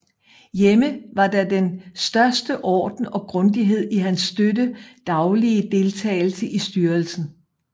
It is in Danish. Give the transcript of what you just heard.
Hjemme var der den største orden og grundighed i hans støtte daglige deltagelse i styrelsen